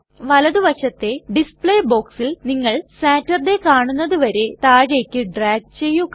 വലതു വശത്തെ ഡിസ്പ്ലേ ബോക്സിൽ നിങ്ങൾ സാറ്റർഡേ കാണുന്നത് വരെ താഴേക്കു ഡ്രാഗ് ചെയ്യുക